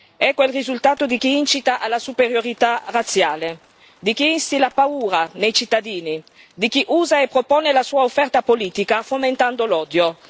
Ecco il risultato di chi incita alla superiorità razziale, di chi instilla paura nei cittadini, di chi usa e propone la sua offerta politica fomentando l'odio.